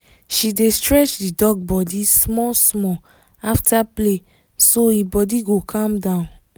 she dey stretch the dog body small-small after play so e body go calm down